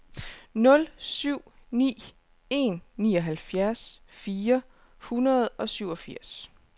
nul syv ni en nioghalvfjerds fire hundrede og syvogfirs